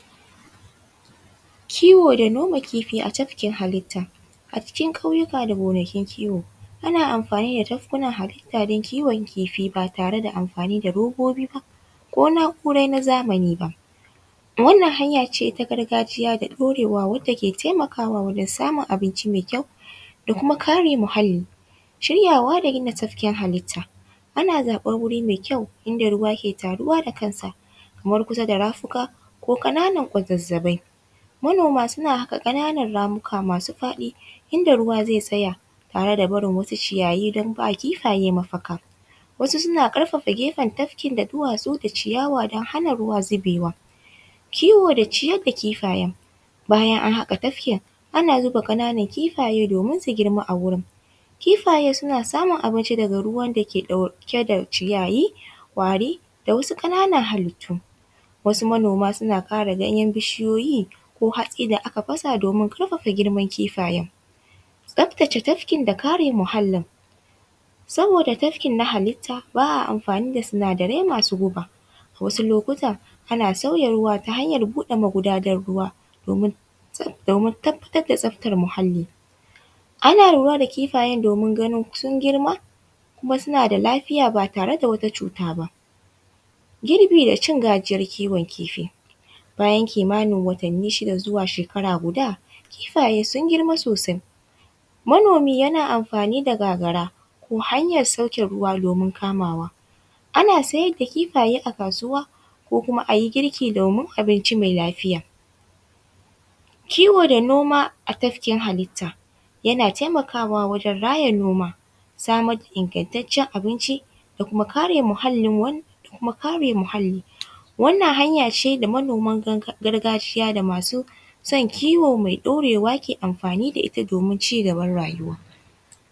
Kiwo da noma kifi a tafkin hallita, a cikin kauyuka da gonakin kiwo ana amfani da tafkunan hallita don kiwon kifi ba tare da amfani da robobi ba ko naura na zamani ba, wannan hanya ce ta gargajiya da ɗorewa wanda ke taimakawa wajen samun abinci mai kyau da kuma kare muhalli, shiryawa da kina tafkin hallita ana zaɓan wuri mai kyau inda ruwa ke taruwa da kansa kamar kusa da rafuka ko kananan gwazazzafai, manoma suna haka kananan ramuka masu faɗi inda ruwa zai tsaya tare da barin wasu ciyayi don ba kifaye mafaka wasu suna karfafa kefan tafkin da duwasu da ciyawa don hana zuwa zubewa, kiwo da ciyar da kifayen bayan an haka tafkin ana zuba kananan kifaye domin su girma a wurin kifaye suna samun abinci daga ruwan dake ɗauke da ciyayi ƙwari da wasu kananan hallitu wasu manoma suna kara ganyen bishiyoyi ko hatsi da aka fasa domin karfafa girman kifayen, tsaftace tafkin da kare muhalin saboda tafkin na hallita ba a amfani da sinadarai masu guba a wasu lokuta ana sauya ruwa ta hanyar buɗe magudanar ruwa domin tabbatar da tsaftar muhalli, ana lura da kifayen domin ganin sun girma kuma suna da lafiya ba tare da wani cuta ba, girbi da cin gajiyan kiwon kifi bayan kimanin watanni shida zuwa shakara guda kifaye sun girma sosai manomi yana amfani da gagara ko ko hanyar sauke ruwa domin kamawa ana siyar da kifaye a kasuwa ko kuma ayi girki domin abinci mai lafiya, kiwo da noma a tafkin hallita yana taimakwa wajen raya noma samar da ingantacen abinci da kuma kare muhalin wannan hanya ce da manoman gargajiya da masu san kiwo mai ɗorewa ke amfani da ita domin cigaban rayuwa.